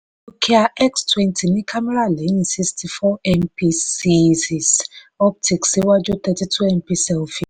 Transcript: nokia x twenty ní kámẹ́rà lẹ́yìn sixty four mp zeiss optics iwájú thirty two mp selfie